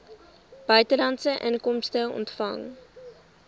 buitelandse inkomste ontvang